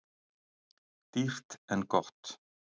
Dýrt en gott